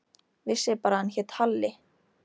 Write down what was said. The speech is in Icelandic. Vissi bara að hann hét Halli.